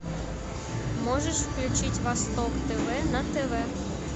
можешь включить восток тв на тв